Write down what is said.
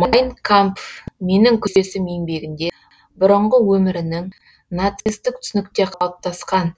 майн кампф менің күресім еңбегінде бұрынғы өмірінің нацистік түсінікте қалыптасқан